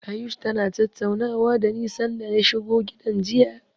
Ayush tana tattaunawa dani sanda ya shigo gidan jiya.